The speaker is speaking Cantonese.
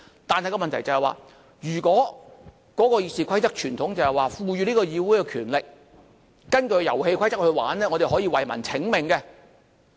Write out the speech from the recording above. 但問題是，如果根據《議事規則》的傳統，是賦予議會權力，根據遊戲規則，我們可以為民請命。